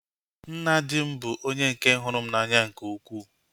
Nna di m bụ onye nke hụrụ m n'anya nke ukwuu